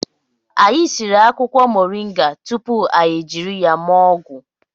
Anyị siri akwụkwọ moringa tupu anyị jiri ya mee ọgwụ